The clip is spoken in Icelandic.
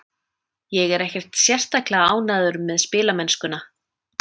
Ég er ekkert sérstaklega ánægður með spilamennskuna.